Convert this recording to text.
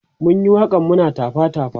mun Yi waƙan muna tafa tafa